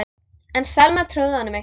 En Selma trúði honum ekki.